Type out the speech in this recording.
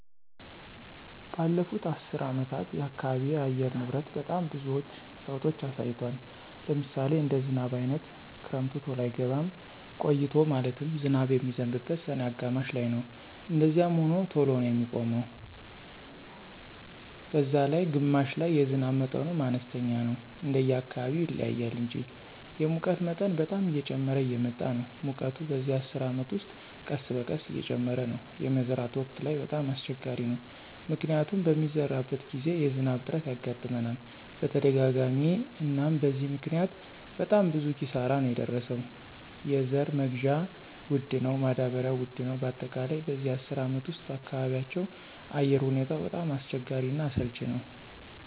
በለፉት አሰር አመታት የአካባቢ አየር ንብረት በጣም ብዙዎች ለውጦች አሳይቷል። ለምሳሌ እንደ ዝናብ አይነት ክረምቱ ተሎ አይገባም ቆይቶ ማለትም ዝናብ የሚዝንበው ሰኔ አጋማሽ ላይነው እንደዛዚያም ሆኖ ተሎ ነው የሚቆመው ነላይ ግማሽ ላይ የዝናብ መጠኑም አነስተኛ ነው እንደየ አካባቢው ይለያያል እንጂ። የሙቀት መጠን በጣም እየጨመረ እየመጣ ነው ሙቀቱ በዚህ አስር አመት ውስጥ ቀስበቀስ እየጨመረ ነው። የመዝራት ወቅት ላይ በጣም አሰቸጋሪ ነው። ምክንያቱም በሚሰራበት ግዜ የዝናብ እጥረት ያጋጥመናል በተደጋጋሚ አናም በዚህ ምክኒያት በጣም ብዙ ኪሳራ ነው የደረሰው የዘራ መግዢያ ወድ ነው ማዳበሪው ውድ ነው በአጠቃላይ በዚህ አስር አመት ውስጥ በአካባቢያቸው አየር ሁኔታው በጣም አስቸጋሪ እና አሰልች ነወ።